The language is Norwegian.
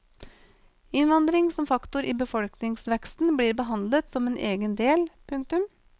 Innvandring som faktor i befolkningsveksten blir behandlet som en egen del. punktum